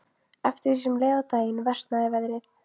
Eftir því sem leið á daginn versnaði veðrið.